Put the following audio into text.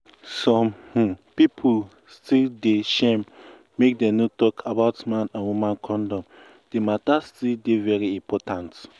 some um pipu still dey um shame make dem no talk about man and woman condom di matter um still dey very important